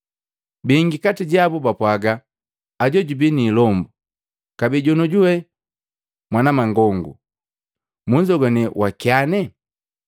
Bingi kati jabu bapwaga, “Ajo jubi niilombu, kabee jonojuwe mwanamangongu! Munzogwane wakyane?”